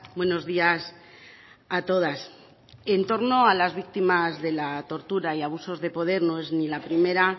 buenos días a todas en torno a las víctimas de la tortura y abusos de poder no es ni la primera